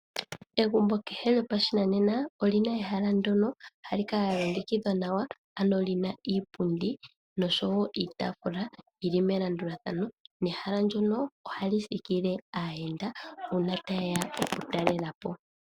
Egumbo kehe lyopashinanena oli na ehala ndyono hali kala lya longekidhwa nawa, ano li na iipundi noshowo iitaafula yi li melandulathano. Ehala ndyono ohali thikile aayenda uuna taye ya okutalela po.